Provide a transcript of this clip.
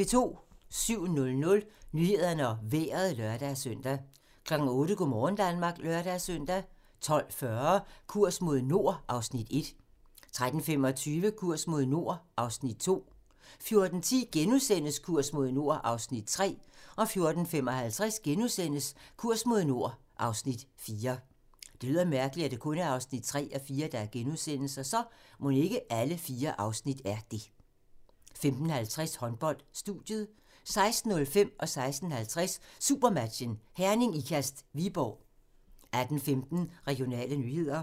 07:00: Nyhederne og Vejret (lør-søn) 08:00: Go' morgen Danmark (lør-søn) 12:40: Kurs mod nord (Afs. 1) 13:25: Kurs mod nord (Afs. 2) 14:10: Kurs mod nord (Afs. 3)* 14:55: Kurs mod nord (Afs. 4)* 15:50: Håndbold: Studiet 16:05: Supermatchen: Herning-Ikast – Viborg 16:50: Supermatchen: Herning-Ikast – Viborg 18:15: Regionale nyheder